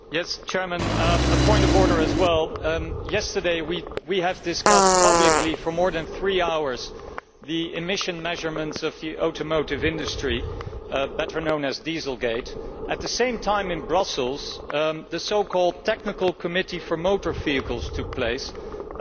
Mr President, a point of order as well. Yesterday we discussed publicly, for more than three hours, the emission measurements of the automotive industry better known as Dieselgate' while at the same time in Brussels the so called Technical Committee for Motor Vehicles met.